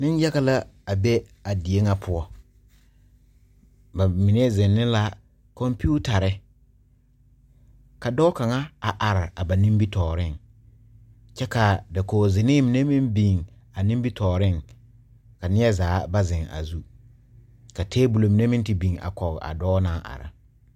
Nenyaga la be a die ŋa poɔ bamine zeŋ ne la computers a dɔɔ kaŋa a are ba nimitɔɔreŋ kyɛ ka dakogi zenee mine meŋ biŋ a nimitɔɔreŋ ka neɛzaa ba zeŋ a zu ka table mine meŋ te biŋ a kɔge a dɔɔ naŋ are.